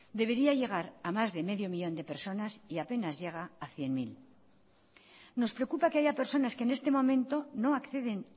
debería llegar a más de medio millón de personas y apenas llega a cien mil nos preocupa que haya personas que en este momento no acceden